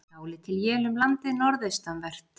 Dálítil él um landið norðaustanvert